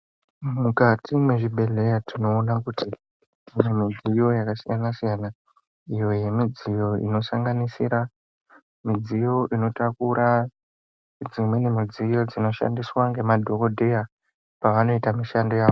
Mukati mwezvibhedhleya tinoona kuti mune midziyo yakasiyana siyana iyo yemidziyo inosanganisira midziyo inotakura dzimweni midziyo dzinoshandiswa ngemadhokodheya pavanoite mushando yawo.